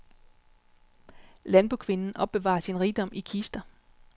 Landbokvinden opbevarer sin rigdom i kister.